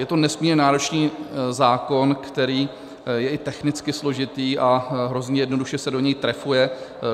Je to nesmírně náročný zákon, který je i technicky složitý a hrozně jednoduše se do něj trefuje.